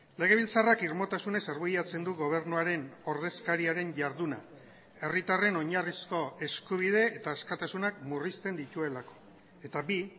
legebiltzarrak irmotasunez arbuiatzen du gobernuaren ordezkariaren jarduna herritarren oinarrizko eskubide eta askatasunak murrizten dituelako eta bi